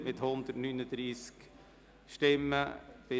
Sie haben dem Antrag FDP/Saxer mit 139 Stimmen zugestimmt.